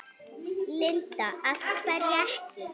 Linda: Af hverju ekki?